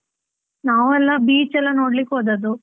ನಾವು ಎಲ್ಲ beach ಎಲ್ಲ ನೋಡ್ಲಿಕ್ಕೆ ಹೋದದ್ದು.